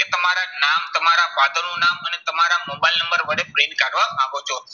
કે તમારા નામ તમારા father નું નામ અને તમારા મોબાઈલ નંબર વડે print કાઢવા માંગો છો.